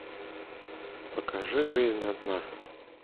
покажи жизнь одна